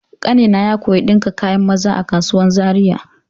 Ƙanina ya koya ɗinka kayan maza a kasuwan Zariya.